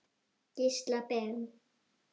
Gísla Ben.